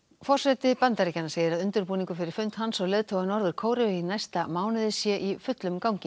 forseti Bandaríkjanna segir að undirbúningur fyrir fund hans og leiðtoga Norður Kóreu í næsta mánuði sé í fullum gangi